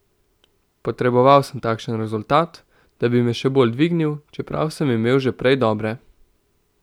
Potreboval sem takšen rezultat, da bi me še bolj dvignil, čeprav sem imel že prej dobre.